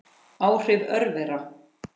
Áhrif örvera